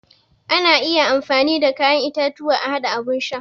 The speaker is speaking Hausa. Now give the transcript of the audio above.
Ana iya amfani da kayan itatuwa a haɗa abun sha.